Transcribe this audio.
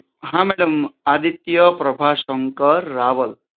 હા મેડમ આદિત્ય પ્રભાસશંકર રાવલ